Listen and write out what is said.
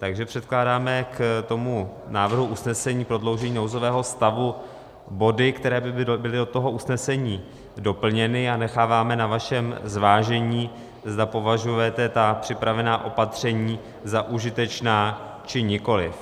Takže předkládáme k tomu návrhu usnesení prodloužení nouzového stavu body, které by byly do toho usnesení doplněny, a necháváme na vašem zvážení, zda považujete ta připravená opatření za užitečná, či nikoliv.